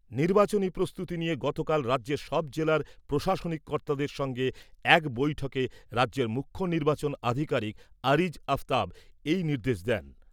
নির্বাচনী প্রস্তুতি নিয়ে গতকাল রাজ্যের সব জেলার প্রশাসনিক কর্তাদের সঙ্গে এক বৈঠকে রাজ্যের মুখ্য নির্বাচন আধিকারিক আরিজ আফতাব এই নির্দেশ দেন।